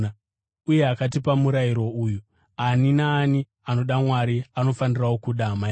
Uye akatipa murayiro uyu: Ani naani anoda Mwari anofanirawo kuda hama yake.